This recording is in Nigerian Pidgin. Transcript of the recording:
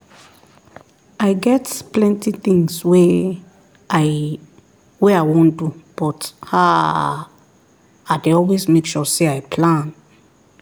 i get plenty things wey i wey i wan do but haaa i dey always make sure say i plan